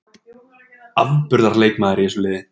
Afburðar leikmaður í þessu liði.